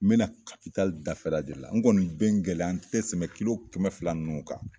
N be na dafɛla de la , n kɔni n bɛ n gɛlɛya n te tɛmɛ kilo kɛmɛ fila ninnu kan.